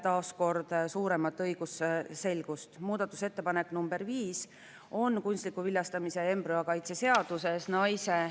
Muudatusettepanekute tähtajaks laekus kokku 728 muudatusettepanekut ning Riigikogu fraktsioonid ja liikmed esitasid eelnõu kohta 711 muudatusettepanekut.